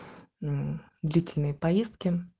длительные поездки